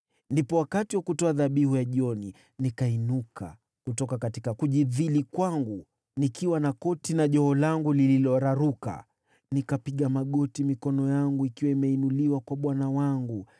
Ndipo wakati wa kutoa dhabihu ya jioni nikainuka kutoka kujidhili kwangu nikiwa na koti na joho langu lililoraruka, nikapiga magoti mikono yangu ikiwa imeinuliwa kwa Bwana Mungu wangu.